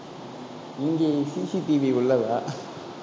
இங்கே CCTV உள்ளதா